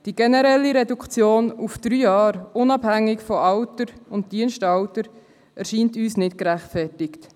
Die generelle Reduktion auf drei Jahre, unabhängig von Alter und Dienstalter erscheint uns nicht als gerechtfertigt.